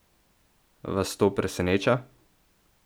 Vas to preseneča?